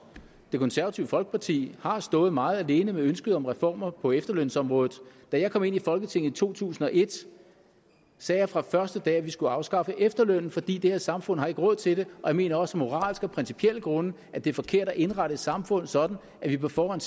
det konservative folkeparti har stået meget alene med ønsket om reformer på efterlønsområdet da jeg kom ind i folketinget i to tusind og et sagde jeg fra første dag at vi skulle afskaffe efterlønnen fordi det her samfund ikke har råd til det jeg mener også af moralske og principielle grunde at det er forkert at indrette et samfund sådan at det på forhånd